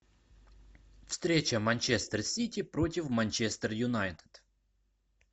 встреча манчестер сити против манчестер юнайтед